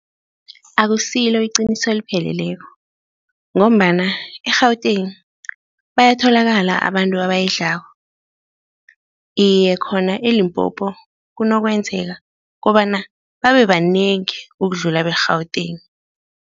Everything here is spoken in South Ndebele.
Akusilo iqiniso elipheleleko ngombana eGauteng bayatholakala abantu abayidlako, iye, khona eLimpopo kunokwenzaka kobana babe banengi ukudlula beGauteng.